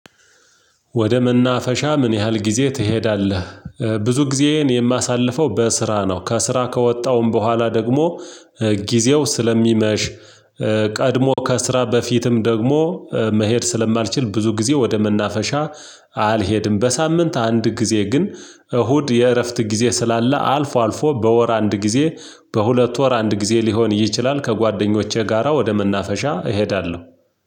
ወደ መናፈሻ ምን ያህል ጊዜ ትሄዳለህ? ብዙ ጊዜዬን የማሳልፈው በስራ ነው። ከስራ ከወጣውም በኋላ ደግሞ ጊዜው ስለሚመሽ ቀድሞ ከስራ በፊትም ደግሞ መሄድ ስለማልችል ብዙ ጊዜ ወደ መናፈሻ አልሄድም። በሳምንት አንድ ጊዜ ግን እሁድ የእረፍት ጊዜ ስላለ አልፎ አልፎ በወር አንድጊዜ፥ በሁለት ወር አንድ ጊዜ ሊሆን ይችላል ከጓደኞቼ ጋራ ወደ መናፈሻ እሄዳለሁ።